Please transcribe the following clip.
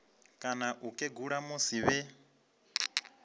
kana u kegula musi vhe